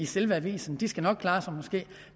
selve avisen de skal nok klare sig